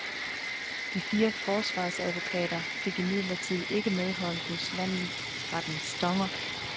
De fire forsvarsadvokater fik imidlertid ikke medhold hos landsrettens dommere.